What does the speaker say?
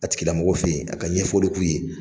A tigila mɔgɔw fɛ ye a ka ɲɛfɔli k'u ye.